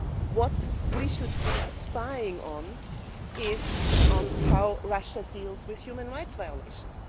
What we should be spying on is on how Russia deals with human rights violations.